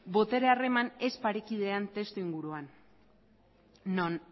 botere harreman ez parekidean testuinguruan non